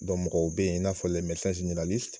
mɔgɔw bɛ ye in n'a fɔ